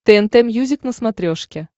тнт мьюзик на смотрешке